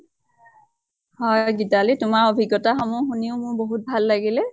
হয় গেটালী, তোমাৰ অভিজ্ঞ্তা সমূহ শুনিও মোৰ বহুত ভাল লাগিলে।